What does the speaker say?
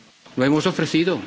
lo hemos ofrecido.